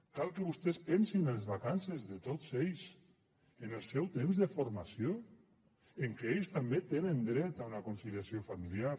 cal que vostès pensin en les vacances de tots ells en el seu temps de formació que ells també tenen dret a una conciliació familiar